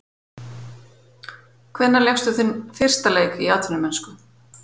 Hvenær lékstu þinn fyrsta leik í atvinnumennsku?